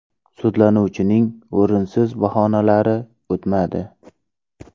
Sudlanuvchining o‘rinsiz bahonalari o‘tmadi.